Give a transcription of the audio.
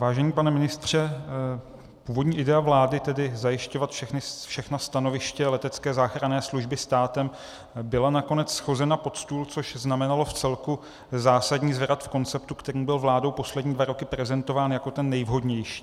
Vážený pane ministře, původní idea vlády, tedy zajišťovat všechna stanoviště letecké záchranné služby státem, byla nakonec shozena pod stůl, což znamenalo vcelku zásadní zvrat v konceptu, který byl vládou poslední dva roky prezentován jako ten nejvhodnější.